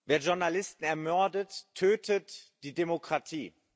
Wer Journalisten ermordet, tötet die Demokratie.